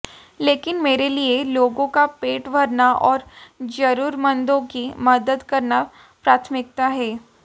लेकिन मेरे लिए लोगों का पेट भरना और जरूरतमंदों की मदद करना प्राथमिकता है